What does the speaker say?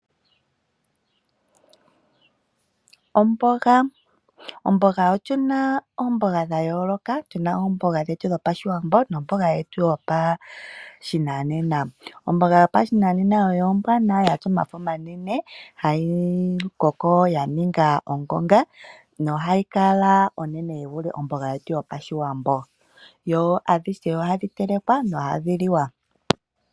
Omboga Otu na oomboga dha yooloka. Tu na omboga yOshiwambo nomboga yetu yopashinanena. Omboga yopashinanena oyo ombwanawa ya tya omafo omanene hayi koko ya ninga ongonga nohayi kala onene yi vule omboga yetu yopashiwambo. Dho adhihe ohadhi telekwa nohadhi liwa.